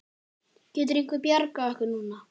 Getur einhver bjargað okkur núna?